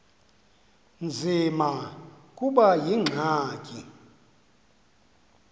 nzima kube yingxaki